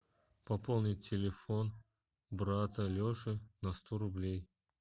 пополнить телефон брата леши на сто рублей